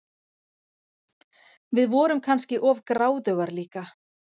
Við vorum kannski of gráðugar líka.